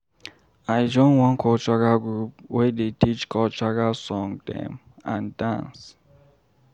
I join one cultural group wey dey teach cultural song dem and dance.